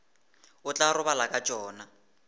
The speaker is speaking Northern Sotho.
o tla robala ka tšona